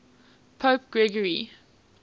pope gregory